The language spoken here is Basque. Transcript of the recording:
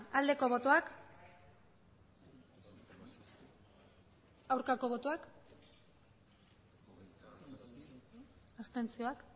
aldeko botoak aurkako botoak abstentzioak